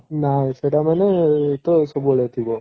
ନାଇଁ ସେଇଟା ମାନେ ତ ସବୁବେଳେ ଥିବ